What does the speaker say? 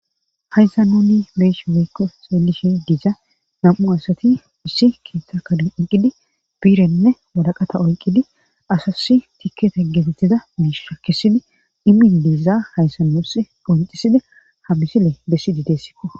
Hayssa nuni beesh weykko seelishe dija nam'u asati issi kiitta kaden onqidi biirenne walaqata oyqqidi asasi tikkete geetetiza mish shakisidi imin deeza hayssa nus qoonxisidi ha misile bessidi deessikko